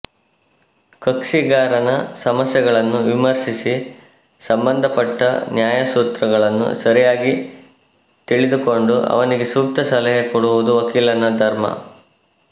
ಕಕ್ಷಿಗಾರನ ಸಮಸ್ಯೆಗಳನ್ನು ವಿಮರ್ಶಿಸಿ ಸಂಬಂಧಪಟ್ಟ ನ್ಯಾಯಸೂತ್ರಗಳನ್ನು ಸರಿಯಾಗಿ ತಿಳಿದುಕೊಂಡು ಅವನಿಗೆ ಸೂಕ್ತ ಸಲಹೆ ಕೊಡುವುದು ವಕೀಲನ ಧರ್ಮ